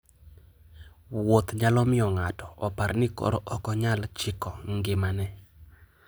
Wuoth nyalo miyo ng'ato opar ni koro ok onyal chiko ngimane.